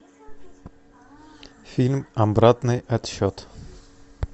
фильм обратный отсчет